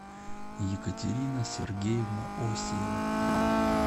екатерина сергеевна осиева